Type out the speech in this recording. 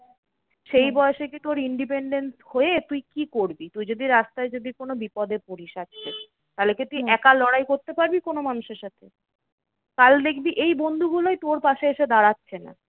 সেই বয়সে কি তোর independent হয়ে তুই কি করবি? তুই যদি রাস্তায় যদি কোনো বিপদ পড়িস আজকে, তাহলে কি তুই একা লড়াই করতে পারবি কোনো মানুষের সাথে? কাল দেখবি এই বন্ধুগুলোই তোর পাশে এসে দাঁড়াচ্ছে না।